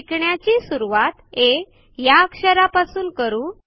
शिकण्याची सुरवात आ या अक्षरापासून करू